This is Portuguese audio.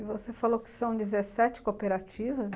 E você falou que são dezessete cooperativas?